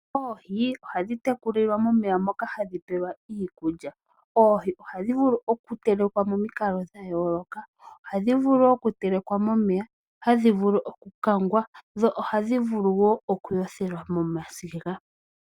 Oohi ohadhi tekulilwa momeya moka hadhi peyelwa iikulya. Oohi ohadhi vulu oku telekwa momikalo dha yooloka, ohadhi vulu oku telekwa momeya, ohadhi vulu oku kangwa dho ohadhi wo okuyothelwa momasiga.